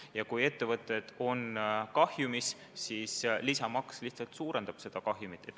Ja kui ettevõtted on kahjumis, siis lisamaks lihtsalt suurendab seda kahjumit.